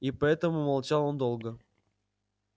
и поэтому молчал он долго